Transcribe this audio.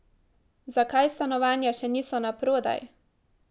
Zakaj stanovanja še niso naprodaj?